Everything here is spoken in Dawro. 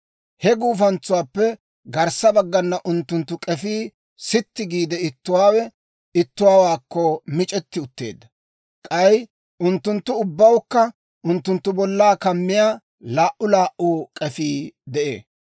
He guufantsuwaappe garssa baggana unttunttu k'efii sitti giide, ittuwaawe ittuwaakko mic'etti utteedda; k'ay unttunttu ubbawukka unttunttu bollaa kammiyaa laa"u laa"u k'efii de'ee.